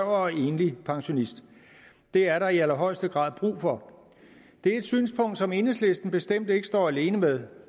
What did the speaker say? og enlig pensionist det er der i allerhøjeste grad brug for det er et synspunkt som enhedslisten bestemt ikke står alene med